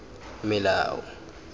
melao